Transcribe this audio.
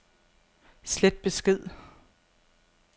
slet besked